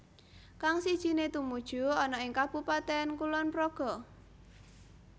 Kang sijiné tumuju ana ing Kabupaten Kulonpraga